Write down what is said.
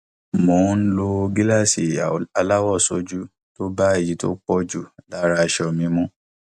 mo ń lo gíláàsì aláwọ sójú tó bá èyí tó pọ jù lára aṣọ mi mu